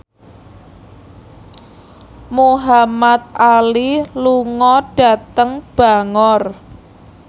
Muhamad Ali lunga dhateng Bangor